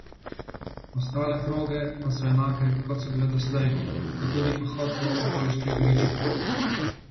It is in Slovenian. Ostale proge pa so enake, kot so bile doslej, kot tudi pohod po okoliških gričih.